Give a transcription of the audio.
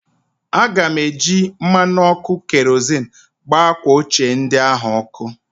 Aga m eji mmanụ ọkụ kerozịn gbaa akwa ochie ndị ahụ ọkụ